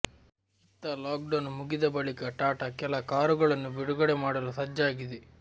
ಇತ್ತ ಲಾಕ್ಡೌನ್ ಮುಗಿದ ಬಳಿಕ ಟಾಟಾ ಕೆಲ ಕಾರುಗಳನ್ನು ಬಿಡುಗಡೆ ಮಾಡಲು ಸಜ್ಜಾಗಿದೆ